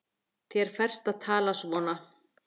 Þér ferst að tala svona!